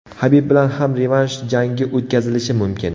Habib bilan ham revansh jangi o‘tkazilishi mumkin.